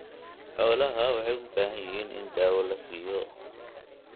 Xoolaha waxay u baahan yihiin in daawo la siiyo.